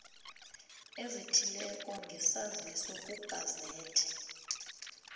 ezithileko ngesaziso kugazethe